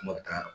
Kumaw bɛ taa